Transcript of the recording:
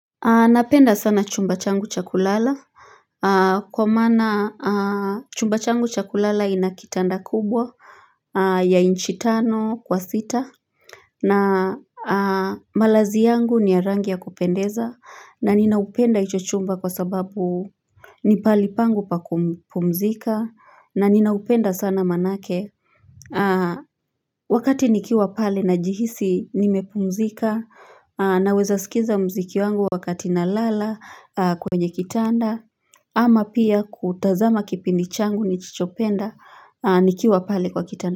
Napenda sana chumba changu cha kulala Kwa mana chumba changu chakulala ina kitanda kubwa ya inchi tano kwa sita na malazi yangu ni ya rangi ya kupendeza na ninaupenda hicho chumba kwa sababu ni palipangu pa kupumzika na ninaupenda sana manake Wakati nikiwa pale najihisi nimepumzika Naweza sikiza mziki wangu wakati nalala kwenye kitanda Ama pia kutazama kipindi changu ni chichopenda nikiwa pale kwa kitanda.